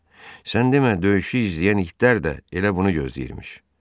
Sən demə döyüşü izləyən itlər də elə bunu gözləyirmiş.